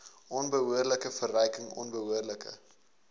onbehoorlike verryking onbehoorlike